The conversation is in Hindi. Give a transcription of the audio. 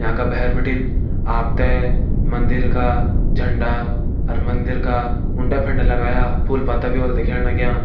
यांका का भैर बिटिन आप तें मंदिर का झंडा अर मंदिर का उंडे-फंडे लगायां फूल पत्ता भी होल दिखेण लग्यां।